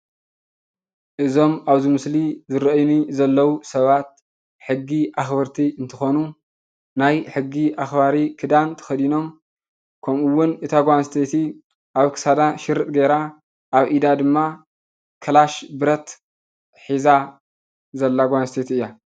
እዞም ኣብዚ ምስሊ ይርአዩኒ ዘለዉ ሰባት ሕጊ ኣኽበርቲ እንትኾኑ ናይ ሕጊ ኣኽባሪ ክዳን ተኸዲኖም ከምኡውን እታ ጓል ኣነስተይቲ ኣብ ክሳዳ ሽርጥ ገይራ ኣብ ኢዳ ድማ ክላሽ ብረት ሒዛ ዘላ ጓል ኣነስተይቲ እያ፡፡